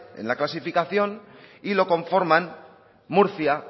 en la clasificación y lo conforman murcia